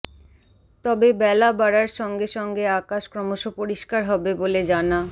তবে বেলা বাড়ার সঙ্গে সঙ্গে আকাশ ক্রমশ পরিষ্কার হবে বলে জানা